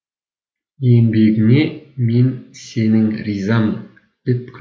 еңбегіңе мен сенің ризамын деп күл